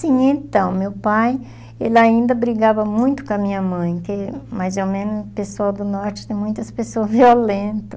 Sim, então, meu pai, ele ainda brigava muito com a minha mãe, que mais ou menos o pessoal do norte tem muitas pessoas violenta.